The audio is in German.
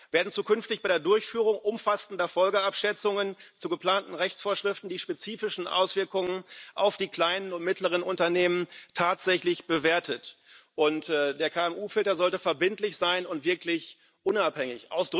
Werden zukünftig bei der Durchführung umfassender Folgenabschätzungen zu geplanten Rechtsvorschriften die spezifischen Auswirkungen auf die kleinen und mittleren Unternehmen tatsächlich bewertet? Und der KMU Filter sollte verbindlich sein und wirklich unabhängig.